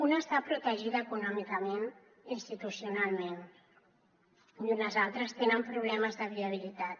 una està protegida econòmicament institucionalment i unes altres tenen problemes de viabilitat